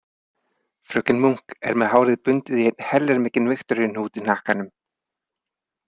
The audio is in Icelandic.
Fröken Munk er með hárið bundið í einn heljarmikinn Viktoríuhnút í hnakkanum.